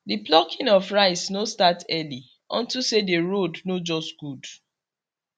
the plucking of rice no start early unto say the road no just good